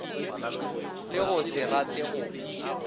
le go se rate go